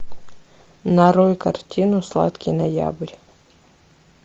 нарой картину сладкий ноябрь